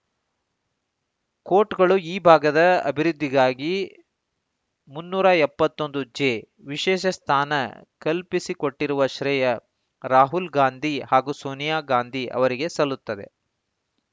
ಕೋಟ್‌ಗಳು ಈ ಭಾಗದ ಅಭಿವೃದ್ಧಿಗಾಗಿ ಮುನ್ನೂರ ಎಪ್ಪತ್ತ್ ಒಂದು ಜೆ ವಿಶೇಷ ಸ್ಥಾನ ಕಲ್ಪಿಸಿಕೊಟ್ಟಿರುವ ಶ್ರೇಯ ರಾಹುಲ್‌ ಗಾಂಧಿ ಹಾಗೂ ಸೋನಿಯಾ ಗಾಂಧಿ ಅವರಿಗೆ ಸಲ್ಲುತ್ತದೆ